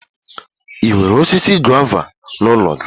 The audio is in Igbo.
Ị nwere osisi gova n'ụlọ gị?